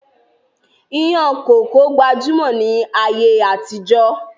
Ìyàn kókó gbajúmọ̀ ni ayé àtijọ́